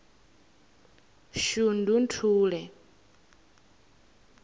shundunthule